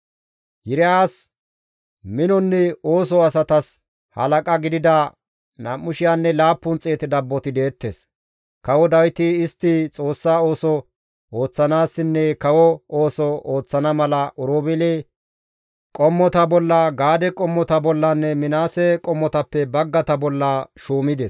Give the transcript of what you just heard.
Yiriyas minonne soo asatas halaqa gidida 2,700 dabboti deettes; kawo Dawiti istti Xoossa ooso ooththanaassinne kawo ooso ooththana mala Oroobeele qommota bolla, Gaade qommota bollanne Minaase qommotappe baggata bolla shuumides.